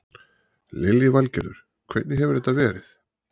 Lillý Valgerður: Hvernig hefur þetta verið?